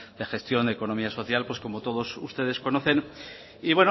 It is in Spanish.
de gestión de economía social pues como todos ustedes conocen y